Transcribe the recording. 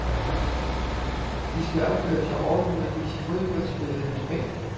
De skal opføre sig ordentligt og vise fodboldspillet respekt.